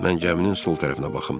Mən gəminin sol tərəfinə baxım.